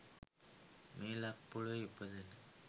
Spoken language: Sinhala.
මේ ලක් පොලවේ ඉපදෙන